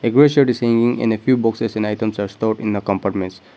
is seeing in a few boxes and items are stored in a compartments.